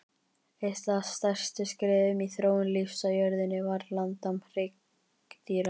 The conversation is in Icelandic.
Eitt af stærstu skrefum í þróun lífs á jörðunni var landnám hryggdýra.